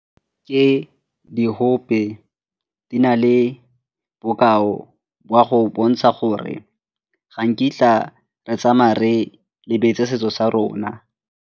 Ke diope, di na le bokao jwa go bontsha gore ga nkitla re tsamaya re lebetse setso sa rona.